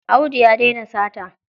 Audu ya daina sata.